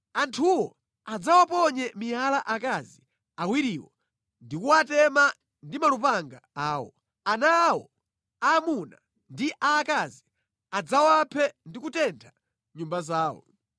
Anthuwo adzawaponye miyala akazi awiriwo ndi kuwatema ndi malupanga awo. Ana awo aamuna ndi aakazi adzawaphe ndi kutentha nyumba zawo.